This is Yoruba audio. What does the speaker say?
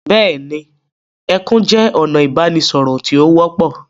Bẹ́ẹ̀ni, ẹkún jẹ́ ọ̀nà ìbánisọ̀rọ̀ tí ó wọ́pọ̀.